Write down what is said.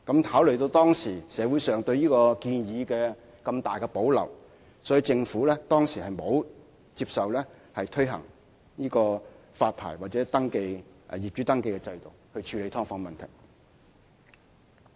考慮到社會上對這項建議有這麼大的保留，政府當時沒有接納推行發牌或業主登記制度以處理"劏房"問題。